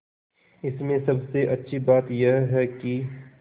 इसमें सबसे अच्छी बात यह है कि